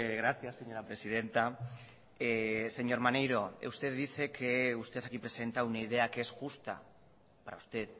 gracias señora presidenta señor maneiro usted dice que usted aquí presenta una idea que es justa para usted